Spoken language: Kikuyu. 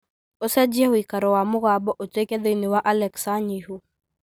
ũcenjie ũikaro wa mũgambo ũtuĩke thĩinĩ wa alexa nyihu